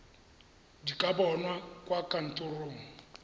di ka bonwa kwa kantorong